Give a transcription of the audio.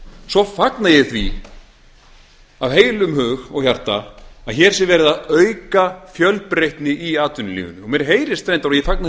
svo fagna ég því af heilum hug og hjarta að hér sé verið að auka fjölbreytni í atvinnulífinu og mér heyrist reyndar og ég fagna því